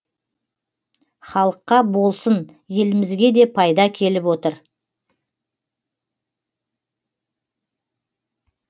халыққа болсын елімізге де пайда келіп отыр